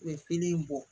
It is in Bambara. U bɛ pili in bɔ